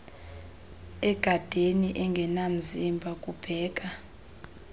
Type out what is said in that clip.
egadeni engenamzimba kubheka